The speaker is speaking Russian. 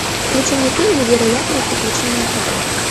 включи мне фильм невероятные приключения кота